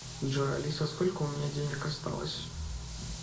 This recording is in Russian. джой алиса сколько у меня денег осталось